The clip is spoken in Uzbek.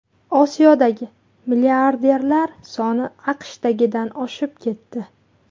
Osiyodagi milliarderlar soni AQShdagidan oshib ketdi.